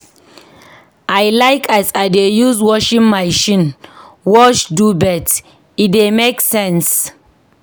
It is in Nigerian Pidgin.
I like as I dey use washing machine wash duvet, e dey make sense.